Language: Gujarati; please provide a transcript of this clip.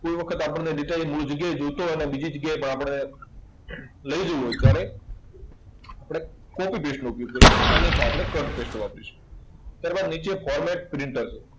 કોઈ વખતે આપણને data એક મૂળ જગ્યાએ જોઈતો હોય અને બીજી જગ્યાએ પણ આપણે લઇ જવો હોય, ત્યારે આપણે copy paste નું ઉપયોગ કરશું. અન્યથા આપણે cut paste વાપરીશું. નીચે forward print હશે.